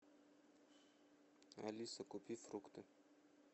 алиса купи фрукты